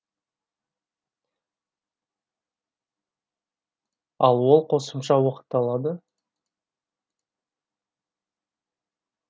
ал ол қосымша уақыт алады